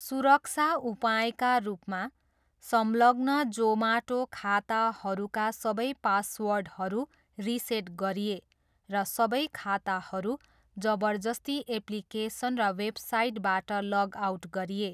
सुरक्षा उपायका रूपमा, संलग्न जोमाटो खाताहरूका सबै पासवर्डहरू रिसेट गरिए र सबै खाताहरू जबरजस्ती एप्लिकेसन र वेबसाइटबाट लग आउट गरिए।